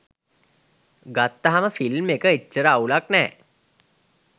ගත්තහම ෆිල්ම් එක එච්චර අවුලක් නෑ.